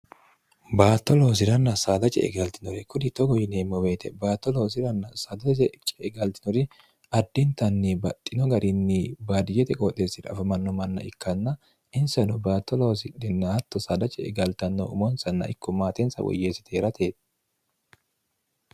baatto loosi'ranna saadace egaltinore kuni togo yineemmo beete baatto loosiranna saadaje cegaltinori addintanni baxxino garinni baadiyete qooxeessira afamanno manna ikkanna insano batto loosidhinatto saadace egaltanno umonsanna ikko maatensa woyyeessite herate